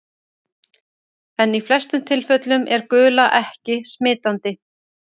En í flestum tilfellum er gula ekki smitandi.